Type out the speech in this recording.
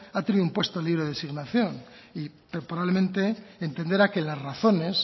ha tenido un puesto libre de asignación y probablemente entenderá que las razones